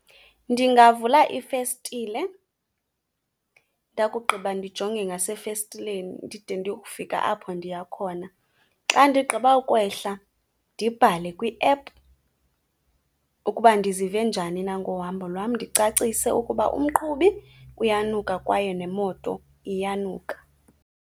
Ndingavula ifestile ndakugqiba ndijonge ngasefestileni ndide ndiye kufika apho ndiya khona. Xa ndigqiba kwehla ndibhale kwiephu ukuba ndizive njani na ngohambo lwam, ndicacise ukuba umqhubi uyanuka kwaye nemoto iyanuka.